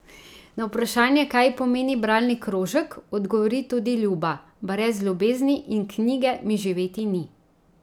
Na vprašanje, kaj ji pomeni bralni krožek, odgovori tudi Ljuba: "Brez ljubezni in knjige mi živeti ni.